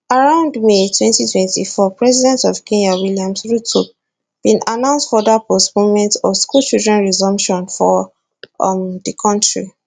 around may twenty twenty four president of kenya williams ruto bin announce further postponement of school children resumption for um di kontri